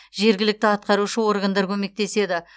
жергілікті атқарушы органдар көмектеседі